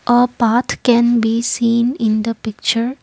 a path can be seen in the picture.